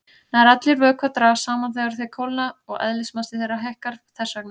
Nær allir vökvar dragast saman þegar þeir kólna og eðlismassi þeirra hækkar þess vegna.